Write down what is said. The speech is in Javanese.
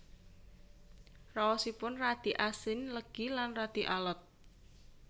Raosipun radi asin legi lan radi alot